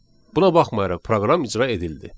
Buna baxmayaraq proqram icra edildi.